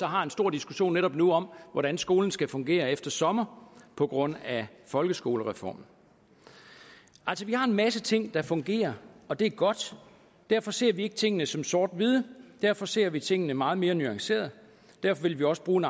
har en stor diskussion netop nu om hvordan skolen skal fungere efter sommer på grund af folkeskolereformen vi har en masse ting der fungerer og det er godt og derfor ser vi ikke tingene som sort hvide derfor ser vi tingene meget mere nuanceret derfor vil vi også bruge